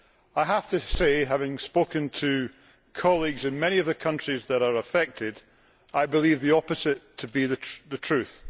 I have to say, having spoken to colleagues in many of the countries that are affected, I believe the opposite to be the truth.